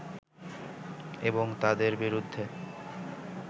এবং তাদের বিরুদ্ধে